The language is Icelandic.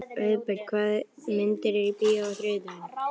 Auðberg, hvaða myndir eru í bíó á þriðjudaginn?